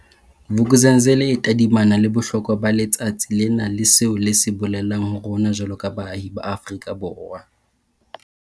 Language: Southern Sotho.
Vuk'uzenzele e tadimana le bohlokwa ba letsatsi lena le seo le se bolelang ho rona jwaloka baahi ba Afrika Borwa.